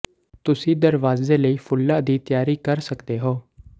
ਤੁਸੀਂ ਦਰਵਾਜ਼ੇ ਲਈ ਫੁੱਲਾਂ ਦੀ ਤਿਆਰੀ ਕਰ ਸਕਦੇ ਹੋ